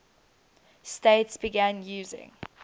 states began using